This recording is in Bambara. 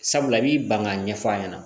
Sabula i b'i ban k'a ɲɛf'a ɲɛna